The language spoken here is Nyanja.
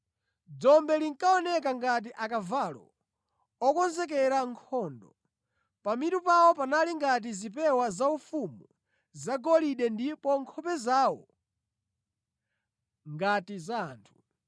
Dzombe linkaoneka ngati akavalo okonzekera nkhondo. Pamitu pawo panali ngati zipewa zaufumu zagolide ndipo nkhope zawo ngati za anthu.